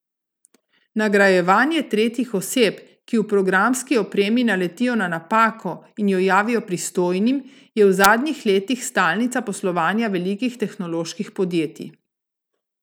Nagrajevanje tretjih oseb, ki v programski opremi naletijo na napako in jo javijo pristojnim, je v zadnjih letih stalnica poslovanja velikih tehnoloških podjetij.